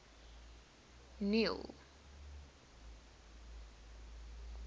neil